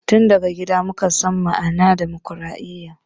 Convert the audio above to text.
Tin daya gida muka san ma'anan dimokradiya